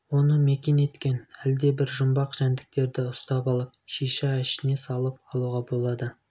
оны мекен еткен әлдебір жұмбақ жәндіктерді ұстап алып шиша ішін салып алуға болады